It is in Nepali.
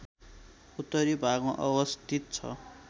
उत्तरी भागमा अवस्थित छ